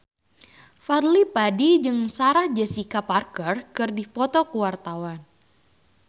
Fadly Padi jeung Sarah Jessica Parker keur dipoto ku wartawan